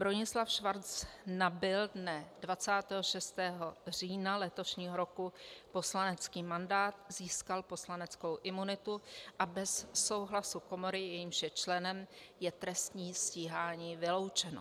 Bronislav Schwarz nabyl dne 26. října letošního roku poslanecký mandát, získal poslaneckou imunitu a bez souhlasu komory, jejímž je členem, je trestní stíhání vyloučeno.